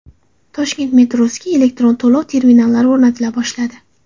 Toshkent metrosiga elektron to‘lov terminallari o‘rnatila boshladi.